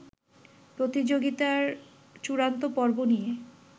প্রতিযোগিতার চূড়ান্ত পর্ব নিয়ে